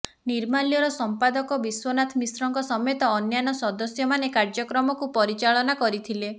ନିର୍ମାଲ୍ୟର ସଂପାଦକ ବିଶ୍ୱନାଥ ମିଶ୍ରଙ୍କ ସମେତ ଅନ୍ୟାନ୍ୟ ସଦସ୍ୟମାନେ କାର୍ଯ୍ୟକ୍ରମକୁ ପରିଚାଳନା କରିଥିଲେ